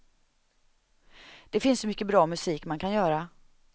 Det finns så mycket bra musik man kan göra.